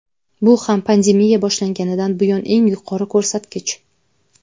Bu ham pandemiya boshlanganidan buyon eng yuqori ko‘rsatkich.